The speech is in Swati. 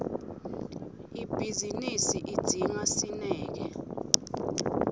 ibhizinisi idzinga sineke